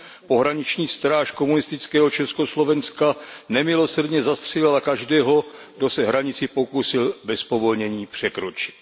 Pohraniční stráž komunistického Československa nemilosrdně zastřelila každého, kdo se hranici pokusil bez povolení překročit.